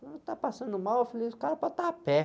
Ah, está passando mal? Eu falei, esse cara pode estar a pé.